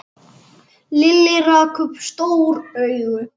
Lilli rak upp stór augu.